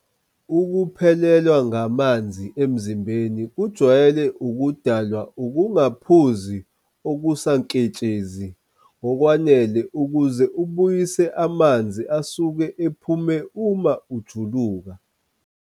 Ukuphelelwa ngamanzi emzimbeni kujwayele ukudalwa ukungaphuzi okusaketshezi ngokwanele ukuze ubuyisele amanzi asuke ephume uma ujuluka.